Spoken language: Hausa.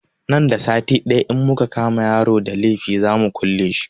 Nan da sati ɗaya in muka kama yaron da laifi za mu kule shi